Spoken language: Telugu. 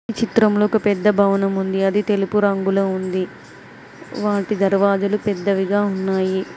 చిత్రంలో ఒక పెద్ద భవనం ఉంది. అది తెలుపు రంగులో ఉంది. వాటి దర్వాజలు పెద్దవిగా ఉన్నాయి.